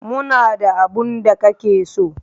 Muna da abin da kake so.